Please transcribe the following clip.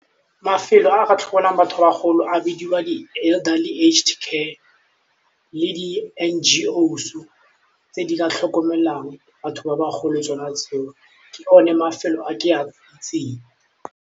Mafelo a a ka tlhokomelang batho ba bagolo a bidiwa di-elderly aged care, le di N_G_O-s tse di ka tlhokomelang batho ba bagolo tsona tseo ke one mafelo a ke a itseng.